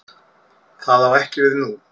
Það á ekki við nú.